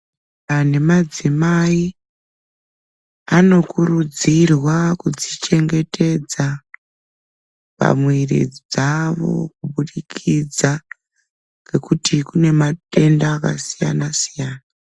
Animadzimai anokurudzirwa kudzichengetedza pamwiri dzawo kubudikidza ngekuti kunematenda akasiyana siyana.